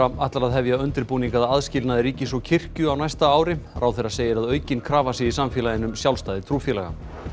ætlar að hefja undirbúning að aðskilnaði ríkis og kirkju á næsta ári ráðherra segir að aukin krafa sé í samfélaginu um sjálfstæði trúfélaga